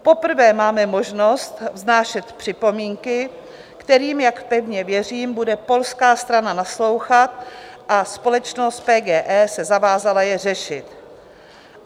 Poprvé máme možnost vznášet připomínky, kterým, jak pevně věřím, bude polská strana naslouchat, a společnost PGE se zavázala je řešit.